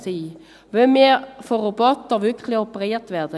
Wollen wir wirklich von Robotern operiert werden?